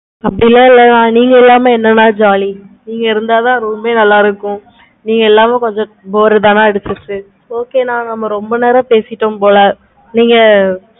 அப்படிலாம் இல்லனா நீங்க இல்லாம என்ன அண்ணா jolly நீங்க இருந்தா தான் room ஏ நல்ல இருக்கும். நீங்க இல்லாம கொஞ்சம் பாரு தான okay நா நம்ம ரொம்ப நேரம் பேசிட்டோம் போல